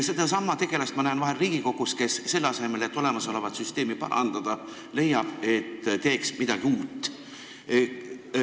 " Sedasama tegelast näen ma vahel Riigikogus, kui selle asemel, et olemasolevat süsteemi parandada, leitakse, et teeks parem midagi uut.